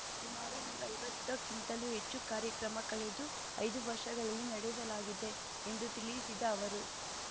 ಸುಮಾರು ನೂರೈವತ್ತ ಕ್ಕಿಂತಲೂ ಹೆಚ್ಚು ಕಾರ್ಯಕ್ರಮ ಕಳೆದ ಐದು ವರ್ಷಗಳಲ್ಲಿ ನಡೆಸಲಾಗಿದೆ ಎಂದು ತಿಳಿಸಿದ ಅವರು